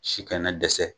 Si kana dɛsɛ